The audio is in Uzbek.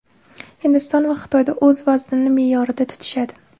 Hindiston va Xitoyda o‘z vaznini me’yorida tutishadi.